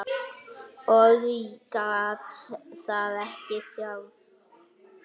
Ég gat það ekki sjálf.